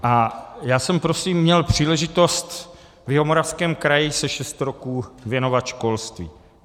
A já jsem prosím měl příležitost v Jihomoravském kraji se šest roků věnovat školství.